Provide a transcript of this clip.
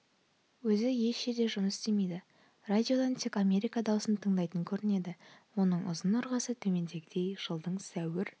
өзі еш жерде жұмыс істемейді радиодан тек америка даусын тыңдайтын көрінеді оның ұзын-ырғасы төмендегідей жылдың сәуір